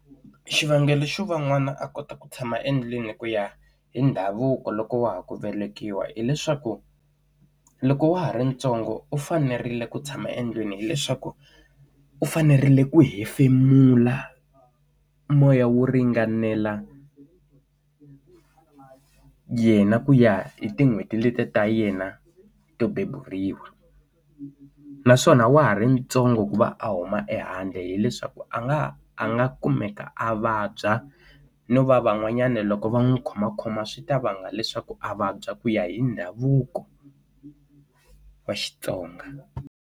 Xivangelo xo va n'wana a kota ku tshama endlwini ku ya hi ndhavuko loko wa ha ku velekiwa hileswaku loko wa ha ri ntsongo u fanerile ku tshama endlwini hileswaku u fanerile ku hefemula moya wo ringanela yena ku ya hi tin'hweti letiya ta yena to beburiwa naswona wa ha ri ntsongo ku va a huma e handle hileswaku a nga a nga kumeka a vabya no va van'wanyana loko va n'wi khomakhoma swi ta vanga leswaku a vabya ku ya hi ndhavuko wa Xitsonga.